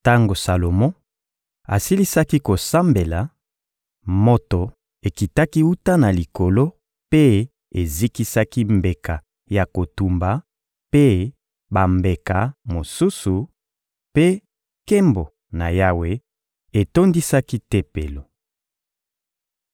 Tango Salomo asilisaki kosambela, moto ekitaki wuta na Likolo mpe ezikisaki mbeka ya kotumba mpe bambeka mosusu, mpe nkembo na Yawe etondisaki Tempelo.